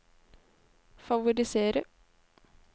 favorisere